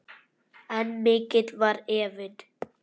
En mikill var efinn.